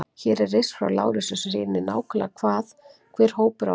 Hér er riss frá Lárusi sem sýnir nákvæmlega hvað hver hópur á að gera.